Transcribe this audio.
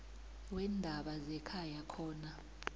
weendaba zekhaya khona